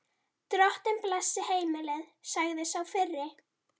Drottinn blessi heimilið, sagði sá fyrri.